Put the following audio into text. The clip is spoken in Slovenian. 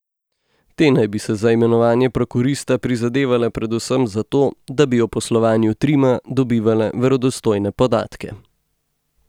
Te naj bi si za imenovanje prokurista prizadevale predvsem zato, da bi o poslovanju Trima dobivale verodostojne podatke.